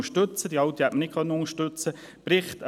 Die alte hätten wir nicht unterstützen können.